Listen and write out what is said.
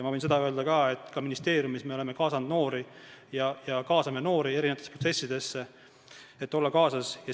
Ma võin öelda ka seda, et ministeeriumis me oleme kaasanud ja kaasame noori protsessidesse, et nad oleksid kaasas.